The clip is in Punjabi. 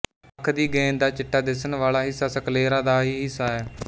ਅੱਖ ਦੀ ਗੇਂਦ ਦਾ ਚਿੱਟਾ ਦਿੱਸਣ ਵਾਲਾ ਹਿੱਸਾ ਸਕਲੇਰਾ ਦਾ ਹੀ ਹਿੱਸਾ ਹੈ